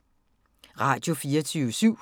Radio24syv